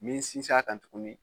Min sinsin a kan tuguni